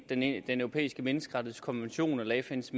den europæiske menneskerettighedskonvention eller fns